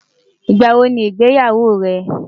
ìgbà wò ní ìgbéyàwó rè?